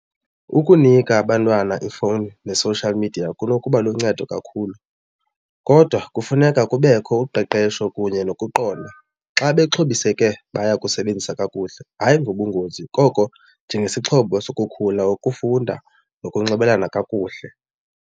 Ukunika abantwana ifowuni ne-social media kunokuba luncedo kakhulu kodwa kufuneka kubekho uqeqesho kunye nokuqonda. Xa bexhobiseke baya kusebenzisa kakuhle hayi ngobungozi koko njengesixhobo sokukhula ukufunda nokunxibelelana kakuhle.